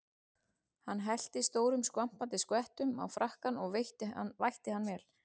Hann hellti stórum skvampandi skvettum á frakkann og vætti hann vel.